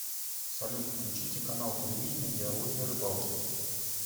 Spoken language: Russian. салют включите канал телевидения диалоги о рыбалке